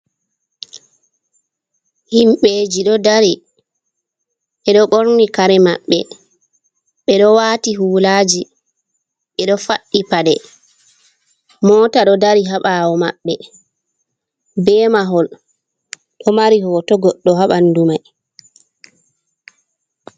Himɓeji ɗo dari ɓeɗo ɓorni kare maɓɓe ɓeɗo waati hulaji ɓeɗo faɗɗi paɗe. Mota ɗo dari ha ɓaawo maɓɓe be mahol ɗo mari hoto goɗɗo ha ɓandu mai.